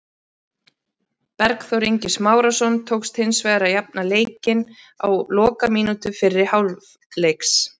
Bergþór Ingi Smárason tókst hins vegar að jafna leikinn á lokamínútu fyrri hálfleiks.